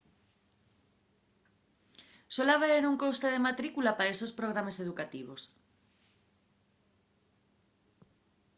suel haber un coste de matrícula pa estos programes educativos